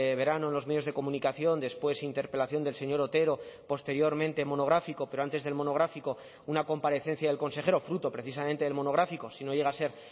verano en los medios de comunicación después interpelación del señor otero posteriormente monográfico pero antes del monográfico una comparecencia del consejero fruto precisamente del monográfico si no llega a ser